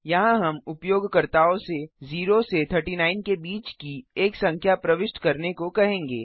यहाँ हम उपयोगकर्ताओं से 0 से 39 के बीच की एक संख्या प्रविष्ट करने को कहेंगे